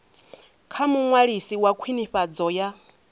kha muṅwalisi wa khwinifhadzo ya